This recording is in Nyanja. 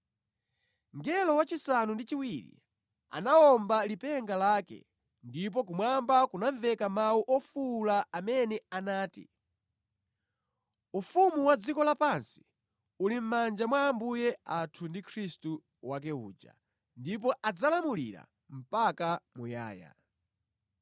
Mngelo wachisanu ndi chiwiri anawomba lipenga lake, ndipo kumwamba kunamveka mawu ofuwula amene anati, “Ufumu wa dziko lapansi uli mʼmanja mwa Ambuye athu ndi Khristu wake uja, ndipo adzalamulira mpaka muyaya.”